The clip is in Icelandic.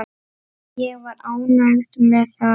Ég var ánægð með það.